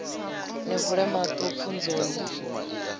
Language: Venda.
ni vule maṱo pfunzo ni